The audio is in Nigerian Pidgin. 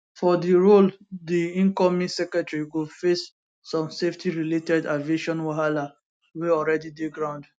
for di role di incoming secretary go face some safety related aviation wahala wey alreadi dey ground